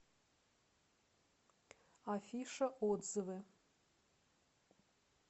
афиша отзывы